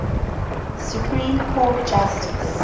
supreme court justice